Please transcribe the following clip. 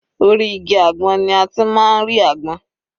Orí igi àgbọn ni a ti máa ń rí àgbọn.